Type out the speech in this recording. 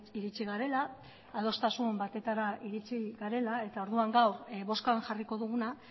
iritsi garela adostasun batetara iritsi garela eta orduan gaur bozkan jarriko duguna